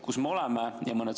Kus me oleme?